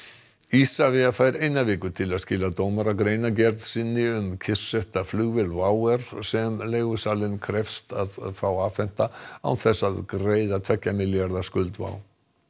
Isavia fær eina viku til að skila dómara greinargerð sinni um kyrrsetta flugvél WOW air sem leigusalinn krefst þess að fá afhenta án þess að greiða tveggja milljarða skuld WOW